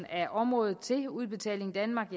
af området til udbetaling danmark